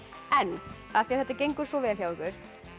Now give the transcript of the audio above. en af því þetta gengur svo vel hjá ykkur